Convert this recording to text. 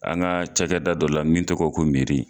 An ka cakɛda dɔ la min tɔgɔ ye ko